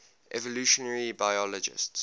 evolutionary biologists